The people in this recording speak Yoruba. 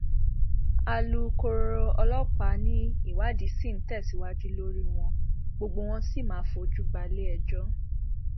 alūkkóró ọlọpàá ni ìwádìí ṣì ń tẹsíwájú lórí wọn gbogbo wọn ló sì máa fojú balẹẹjọ